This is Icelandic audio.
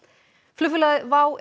flugfélagið WOW